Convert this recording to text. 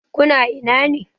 Ku na ina ne?